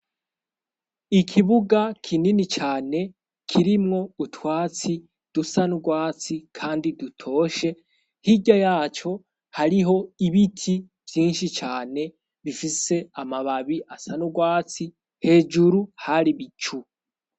Ikibuga kinini cane kirimwo utwatsi dusa n'urwatsi kandi dutoshe hija yacyo hariho ibiti vyinshi cyane bifise amababi asanurwatsi hejuru hari bicu.